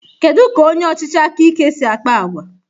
Kedu ka onye ọchịchị aka ike si akpa àgwà?